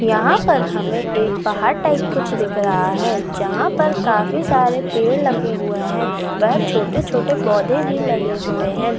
यहाँ पर हमे एक पहाड़ टाइप कुछ दिख रहा है जहाँ पर काफी सारे पेड़ लगे हुए है व छोटे-छोटे पौधे भी लगे हुए है।